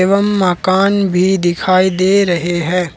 एवं मकान भी दिखाई दे रहे हैं।